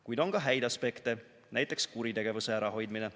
Kuid on ka häid aspekte – näiteks kuritegevuse ärahoidmine.